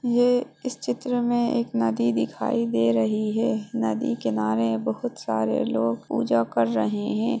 ये इस चित्र में एक नदी दिखाई दे रही हे नदी किनारे बहोत सारे लोग पूजा कर रहें हें।